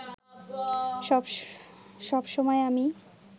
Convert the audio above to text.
সব সময় আমি